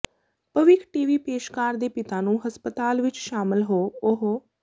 ਭਵਿੱਖ T V ਪੇਸ਼ਕਾਰ ਦੇ ਪਿਤਾ ਨੂੰ ਹਸਪਤਾਲ ਵਿਚ ਸ਼ਾਮਲ ਹੋ ਉਹ